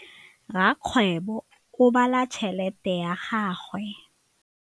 Rakgwêbô o bala tšheletê ya gagwe.